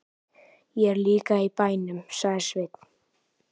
Ég er líka í bænum, sagði Sveinn.